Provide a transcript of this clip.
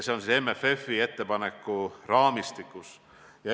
Seda tehakse MFF-i ettepaneku raamistikus.